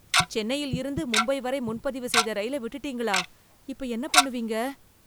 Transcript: சென்னையில் இருந்து மும்பை வரை முன் பதிவு செய்த ரயில விட்டுட்டீங்களா, இப்ப என்ன பண்ணுவீங்க?